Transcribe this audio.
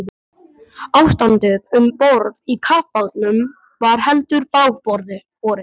Ástandið um borð í kafbátnum var heldur bágborið.